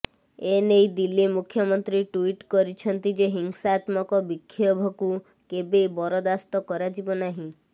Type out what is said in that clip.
ଏନେଇ ଦିଲ୍ଲୀ ମୁଖ୍ୟମନ୍ତ୍ରୀ ଟ୍ୱିଟ୍ କରିଛନ୍ତି ଯେ ହିଂସାତ୍ମକ ବିକ୍ଷୋଭକୁ କେବେ ବରଦାସ୍ତ କରାଯିବ ନାହିଁ